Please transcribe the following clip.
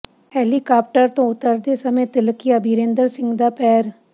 helicopter ਤੋਂ ਉਤਰਦੇ ਸਮੇਂ ਤਿਲਕਿਆ ਬੀਰੇਂਦਰ ਸਿੰਘ ਦਾ ਪੈਰ